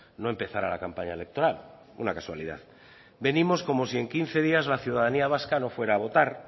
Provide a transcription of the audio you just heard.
no empezara la campaña electoral una casualidad venimos como si en quince días la ciudadanía vasca no fuera a votar